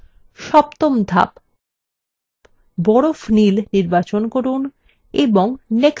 সপ্তম ধাপ বরফ নীল নির্বাচন করুন এবং